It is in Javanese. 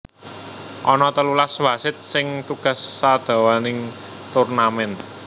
Ana telulas wasit sing tugas sadawaning turnamen